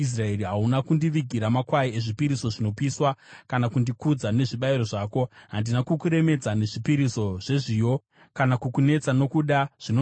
Hauna kundivigira makwai ezvipiriso zvinopiswa, kana kundikudza nezvibayiro zvako. Handina kukuremedza nezvipiriso zvezviyo, kana kukunetesa nokuda zvinonhuhwira.